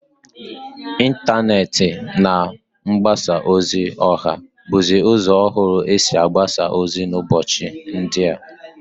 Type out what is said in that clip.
Intaneti na mgbasa ozi oha buzi uzo ohuru esi agbasa ozi n'ubochi ndia.